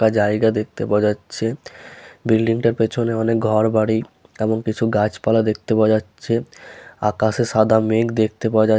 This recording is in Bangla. একটা জায়গা দেখতে পাওয়া যাচ্ছে বিল্ডিং টার পেছনে অনেক ঘর বাড়ি এবং কিছু গাছপালা দেখতে পাওয়া যাচ্ছে আকাশে সাদা মেঘ দেখতে পাওয়া যাচ --